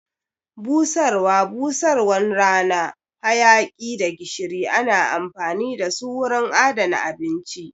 Busarwa, busarwan rana, hayaki da gishiri ana amfani dasu wurin adana abinci